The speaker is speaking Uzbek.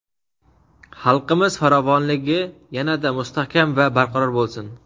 xalqimiz farovonligi yana-da mustahkam va barqaror bo‘lsin!.